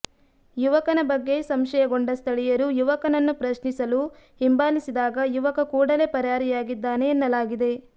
ಯುವಕನ ಬಗ್ಗೆ ಸಂಶಯಗೊಂಡ ಸ್ಥಳೀಯರು ಯುವಕನನ್ನು ಪ್ರಶ್ನಿಸಲು ಹಿಂಬಾಲಿಸಿದಾಗ ಯುವಕ ಕೂಡಲೇ ಪರಾರಿಯಾಗಿದ್ದಾನೆ ಎನ್ನಲಾಗಿದೆ